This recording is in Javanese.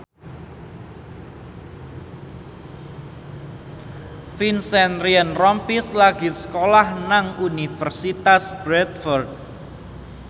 Vincent Ryan Rompies lagi sekolah nang Universitas Bradford